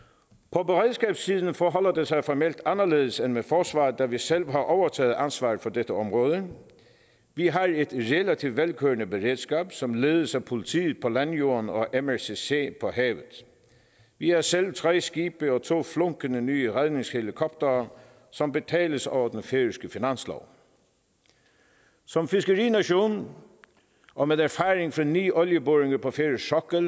på beredskabssiden forholder det sig formelt anderledes end med forsvaret da vi selv har overtaget ansvaret for dette område vi har et relativt velkørende beredskab som ledes af politiet på landjorden og af mrcc på havet vi har selv tre skibe og to flunkende nye redningshelikoptere som betales over den færøske finanslov som fiskerination og med erfaring fra ni olieboringer på færøsk sokkel